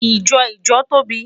Ijọ ijo tobi